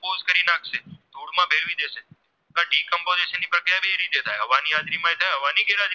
હવાની હાજરી માં થાય અને હવાની ગેરહાજરી માં